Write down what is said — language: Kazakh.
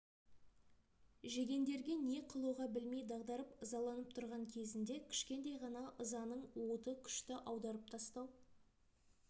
жегендерге не қылуға білмей дағдарып ызаланып тұрған кезінде кішкентай ғана ызаның уыты күшті аударып тастау